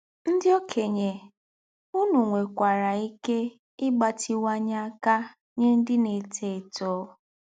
Ndị̀ òkènye, ùnù nwè̀kwārā íké ígbátíwányè ákà nyè ndị̀ na-étò étò